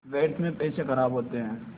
व्यर्थ में पैसे ख़राब होते हैं